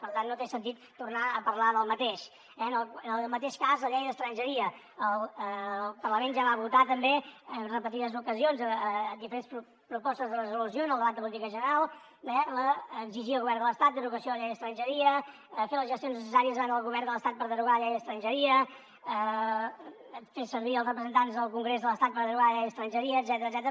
per tant no té sentit tornar a parlar del mateix eh en el mateix cas la llei d’estrangeria el parlament ja va votar també en repetides ocasions diferents propostes de resolució en el debat de política general d’exigir al govern de l’estat la derogació de la llei d’estrangeria fer les gestions necessàries davant el govern de l’estat per derogar la llei d’estrangeria fer servir els representants del congrés de l’estat per derogar la llei d’estrangeria etcètera